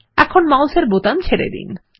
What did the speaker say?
এখনই মাউসের বোতাম ছেড়ে দিন